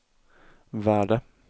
värde